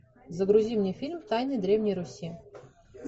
загрузи мне фильм тайны древней руси